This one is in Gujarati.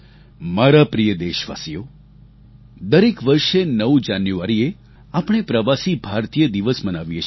મારા પ્રિય દેશવાસીઓ દરેક વર્ષે ૯ જાન્યુઆરીએ આપણે પ્રવાસી ભારતીય દિવસ મનાવીએ છીએ